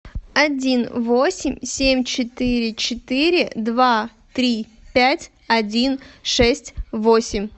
один восемь семь четыре четыре два три пять один шесть восемь